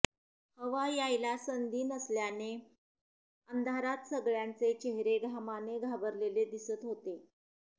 हवा यायला संधी नसल्याने अंधारात सगळ्यांचे चेहरे घामाने घाबरलेले दिसत होते